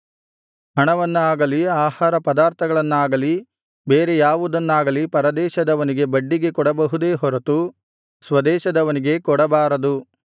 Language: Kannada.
ಹಣವನ್ನಾಗಲಿ ಆಹಾರಪದಾರ್ಥಗಳನ್ನಾಗಲಿ ಬೇರೆ ಯಾವುದನ್ನಾಗಲಿ ಪರದೇಶದವನಿಗೆ ಬಡ್ಡಿಗೆ ಕೊಡಬಹುದೇ ಹೊರತು ಸ್ವದೇಶದವನಿಗೆ ಕೊಡಬಾರದು